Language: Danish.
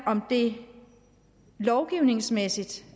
om det lovgivningsmæssigt